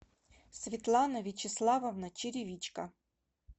светлана вячеславовна черевичко